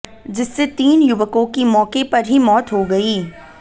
जिससे तीन युवकों की मौके पर ही मौत हो गई